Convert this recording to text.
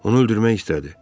Onu öldürmək istədi.